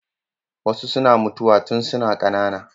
Wasu suna mutuwa tun suna ƙanana.